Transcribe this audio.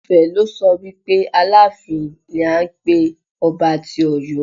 Ife lo so wi pe Aláàfin ni à ń pé ọba tí Ọ̀yọ́.